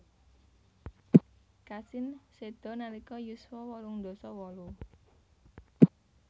Cassin seda nalika yuswa wolung dasa wolu